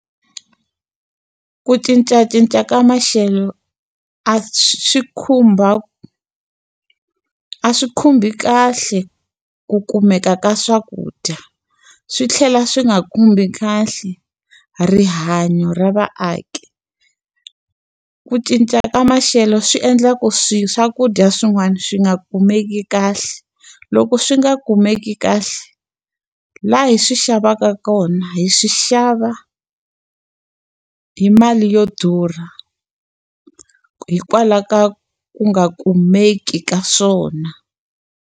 Ku cincacinca ka maxelo a khumba a swi khumbi kahle ku kumeka ka swakudya, swi tlhela swi nga khumbi kahle rihanyo ra vaaki. Ku cinca ka maxelo swi endlaku swakudya swin'wana swi nga kumeki kahle. Loko swi nga kumeki kahle, laha hi swi xavaka kona hi swi xava hi mali yo durha hikwalaho ka ku nga kumeki ka swona.